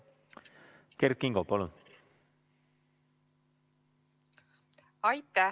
Kert Kingo, palun!